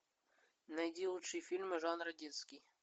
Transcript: найди лучшие фильмы жанра детский